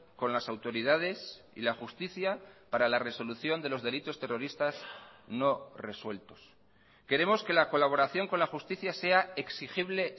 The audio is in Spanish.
con las autoridades y la justicia para la resolución de los delitos terroristas no resueltos queremos que la colaboración con la justicia sea exigible